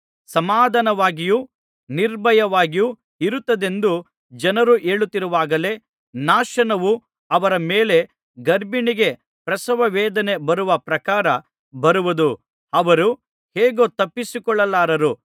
ಸಮಾಧಾನವಾಗಿಯೂ ನಿರ್ಭಯವಾಗಿಯೂ ಇರುತ್ತೇವೆಂದು ಜನರು ಹೇಳುತ್ತಿರುವಾಗಲೇ ನಾಶನವು ಅವರ ಮೇಲೆ ಗರ್ಭಿಣಿಗೆ ಪ್ರಸವವೇದನೆ ಬರುವ ಪ್ರಕಾರ ಬರುವುದು ಅವರು ಹೇಗೂ ತಪ್ಪಿಸಿಕೊಳ್ಳಲಾರರು